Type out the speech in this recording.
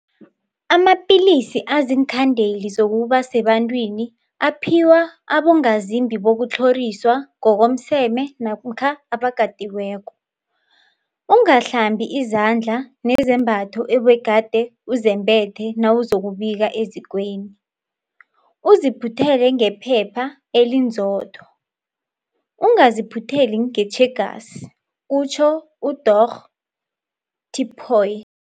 Amapilisi aziinkhandeli zokuba sebantwini aphiwa abongazimbi bokutlhoriswa ngokomseme namkha abakatiweko. Ungahlambi izandla nezembatho obegade uzembethe nawuzokubika ezikweni, uziphuthele ngephepha elinzotho, ungaziphutheli ngetjhegasi, kutjho uDorh Tipoy.